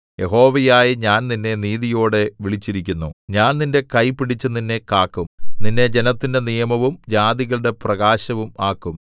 യഹോവയായ ഞാൻ നിന്നെ നീതിയോടെ വിളിച്ചിരിക്കുന്നു ഞാൻ നിന്റെ കൈ പിടിച്ചു നിന്നെ കാക്കും നിന്നെ ജനത്തിന്റെ നിയമവും ജാതികളുടെ പ്രകാശവും ആക്കും